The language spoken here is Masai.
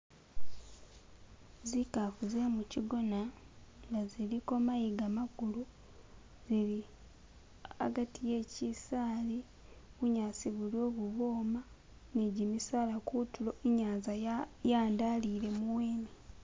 Zikafu ze muchigona nga ziliko mayiga makulu zili hagati he chisaali bunyasi buliwo bubwoma ni gimisaala kutulo inyanza yandalile muwene.